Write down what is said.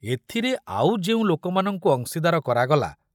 ଏଥିରେ ଆଉ ଯେଉଁ ଲୋକମାନଙ୍କୁ ଅଂଶୀଦାର କରାଗଲା।